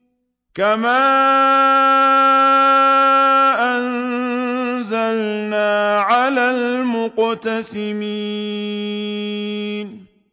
كَمَا أَنزَلْنَا عَلَى الْمُقْتَسِمِينَ